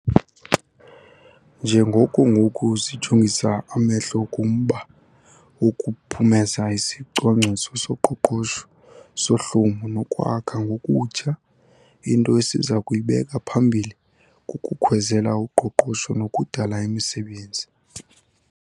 Njengoko ngoku sijongisa amehlo kumba wokuphumeza isiCwangciso soQoqosho soHlumo noKwakha Ngokutsha, into esiza kuyibeka phambili kukukhwezela uqoqosho nokudala imisebenzi.